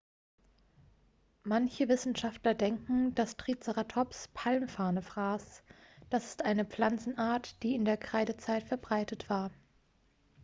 manche wissenschaftler denken dass triceratops palmfarne fraß das ist eine pflanzenart die in der kreidezeit verbreitet war